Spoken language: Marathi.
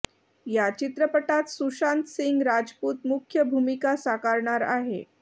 या चित्रपटात सुशांत सिंग रजपूत मुख्य भूमिका साकारणार आहे